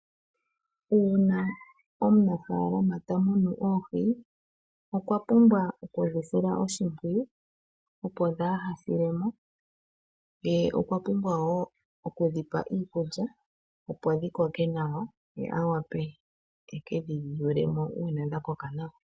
Uuna omunafaalama tamunu oohi okwapumbwa okudhi sila oshimpwiyu opo kadhi silemo ye okwapumbwa woo okudhipa iikulya ye awape ekedhi yulemo uuna dha koka nawa.